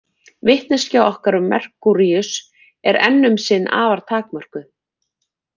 Vitneskja okkar um Merkúríus er enn um sinn afar takmörkuð.